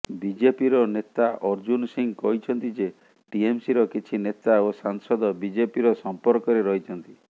ବିଜେପିର ନେତା ଅର୍ଜୁନ୍ ସିଂହ କହିଛନ୍ତି ଯେ ଟିଏମ୍ସିର କିଛି ନେତା ଓ ସାଂସଦ ବିଜେପିର ସମ୍ପର୍କରେ ରହିଛନ୍ତି